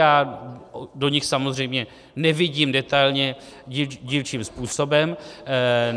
Já do nich samozřejmě nevidím detailně, dílčím způsobem.